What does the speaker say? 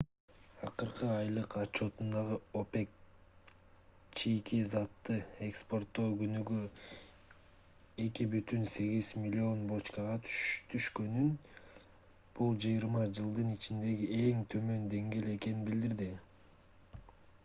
акыркы айлык отчётунда опек чийки затты экспортоо күнүнө 2,8 миллион бочкага түшкөнүн бул жыйырма жылдын ичиндеги эң төмөн деңгээл экенин билдирди